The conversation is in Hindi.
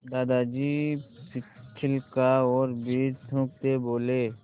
दादाजी छिलका और बीज थूकते बोले